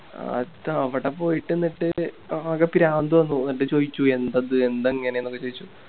അത് അവിടെ പോയിട്ട് എന്നിട്ട് ആകെ ഭ്രാന്ത് വന്നു ന്നിട്ട് ചോയിച്ചു ന്തത് എന്താ ഇങ്ങനെന്നൊക്കെ ചോയിച്ചു